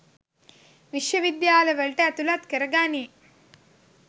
විශ්ව විද්‍යාලවලට ඇතුලත් කර ගනී